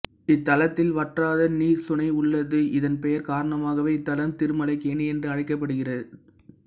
இத்தலத்தில் வற்றாத நீர் சுனை உள்ளது இதன் பெயர் காரணமாகவே இத்தலம் திருமலைக்கேணி என்று அழைக்கப்படுகிது